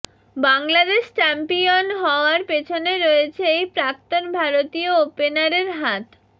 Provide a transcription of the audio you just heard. Bangladesh champion হওয়ার পিছনে রয়েছে এই প্রাক্তন ভারতীয় ওপেনারের হাত